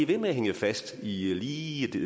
ved med at hænge fast i lige det